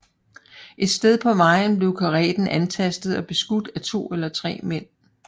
Et sted på vejen blev kareten antastet og beskudt af to eller tre mænd